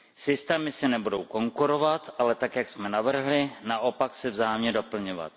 Systémy si nebudou konkurovat, ale tak, jak jsme navrhli, naopak se vzájemně doplňovat.